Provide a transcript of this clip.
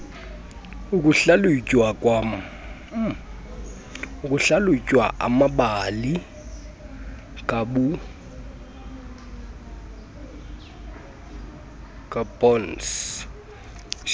ukuhlalutya amabali kaburns